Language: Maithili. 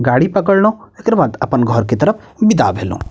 गाड़ी पकड़लो एकर बाद अपन घर के तरफ विदा भएलो।